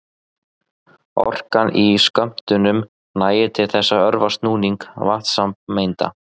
Orkan í skömmtunum nægir til þess að örva snúning vatnssameinda.